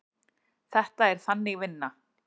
Þetta er Þannig vinna.